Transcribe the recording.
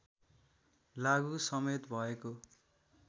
लागु समेत भएको